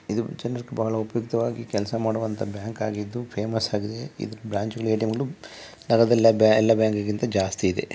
ಇದು ಬಹಳ ಉಪಯುಕ್ತವಾಗಿ ಕೆಲಸ ಮಾಡುವಂತ ಬ್ಯಾಂಕ್ ಆಗಿದ್ದು ಫೇಮಸ್ ಆಗಿದೆ. ಇದು ಬ್ರಾಂಚ್ ಜಾಸ್ತಿ ಇದೆ.